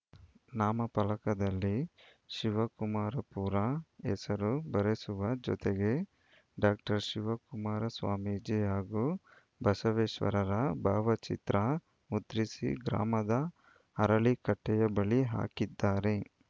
ನಾಮಫಲಕದಲ್ಲಿ ಶಿವಕುಮಾರಪುರ ಹೆಸರು ಬರೆಸುವ ಜೊತೆಗೆ ಡಾಕ್ಟರ್ ಶಿವಕುಮಾರ ಸ್ವಾಮೀಜಿ ಹಾಗೂ ಬಸವೇಶ್ವರರ ಭಾವಚಿತ್ರ ಮುದ್ರಿಸಿ ಗ್ರಾಮದ ಅರಳಿ ಕಟ್ಟೆಯ ಬಳಿ ಹಾಕಿದ್ದಾರೆ